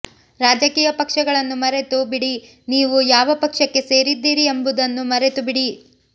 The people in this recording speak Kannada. ರಾಜಕೀಯ ಪಕ್ಷಗಳನ್ನು ಮರೆತು ಬಿಡಿ ನೀವು ಯಾವ ಪಕ್ಷಕ್ಕೆ ಸೇರಿದ್ದೀರಿ ಎಂಬುದನ್ನು ಮರೆತು ಬಿಡಿ